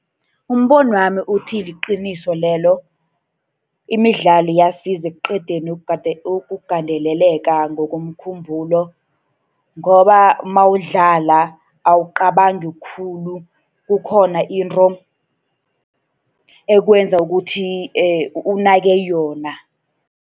Umbonwami uthi liqiniso lelo. Imidlalo iyasiza ekuqedeni ukugandeleleka ngokomkhumbulo. Ngoba nawudlala awucabangi khulu, kukhona into ekwenza ukuthi unake yona.